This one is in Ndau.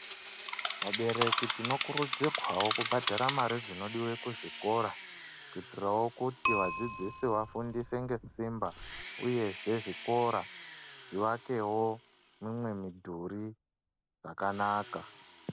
Vabereki tinokurudzirwawo kubhadhara Mari dzinodiwa kuzvikora kuitirawo kuti vadzidzisi vafundiswe ngesimba uyezver zvikora zviakewo mimwe mudhiri yakanaka.